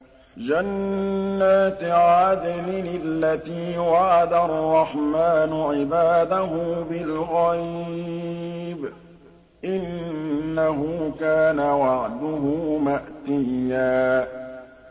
جَنَّاتِ عَدْنٍ الَّتِي وَعَدَ الرَّحْمَٰنُ عِبَادَهُ بِالْغَيْبِ ۚ إِنَّهُ كَانَ وَعْدُهُ مَأْتِيًّا